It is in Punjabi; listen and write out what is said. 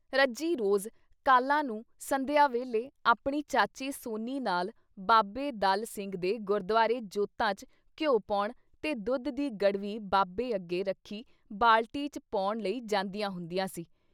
ਰੱਜੀ ਰੋਜ਼ ਕਾਲਾਂ ਨੂੰ ਸੰਧਿਆ ਵੇਲ਼ੇ ਆਪਣੀ ਚਾਚੀ ਸੋਨੀ ਨਾਲ ਬਾਬੇ ਦਲ ਸਿੰਘ ਦੇ ਗੁਰਦੁਆਰੇ ਜੋਤਾਂ 'ਚ ਘਿਉ ਪਾਉਣ ਤੇ ਦੁੱਧ ਦੀ ਗੜਵੀ ਬਾਬੇ ਅੱਗੇ ਰੱਖੀ ਬਾਲਟੀ 'ਚ ਪਾਉਣ ਲਈ ਜਾਂਦੀਆਂ ਹੁੰਦੀਆਂ ਸੀ।